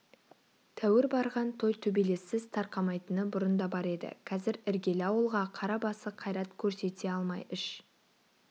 тәуір барған той төбелессіз тарқамайтыны бұрын да бар еді қазір іргелі ауылға қара басы қайрат көрсете алмай іш